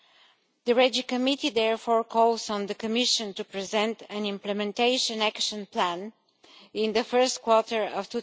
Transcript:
The Regional Development Committee therefore calls on the Commission to present an implementation action plan in the first quarter of